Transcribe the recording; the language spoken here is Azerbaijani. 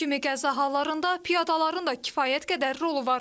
Bu kimi qəza hallarında piyadaların da kifayət qədər rolu var.